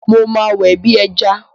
Mo máa wẹ̀ bí ẹjà.